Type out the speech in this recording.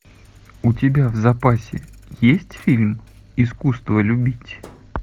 у тебя в запасе есть фильм искусство любить